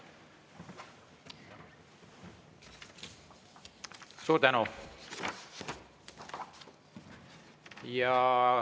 Suur tänu!